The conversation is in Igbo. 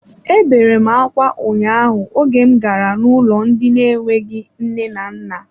Ebere m akwa ụnyaahụ oge m gara n'ụlọ ndị na enweghị nne na nna.